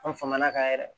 An faŋana kan yɛrɛ